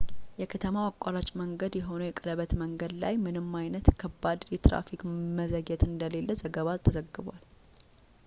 የከተማው አማራጭ መንገድ የሆነው የቀለበት መንገድ ላይ ምንም አይነት ከባድ የትራፊክ መዘግየት እንደሌለ ዘገባ ተዘግቧል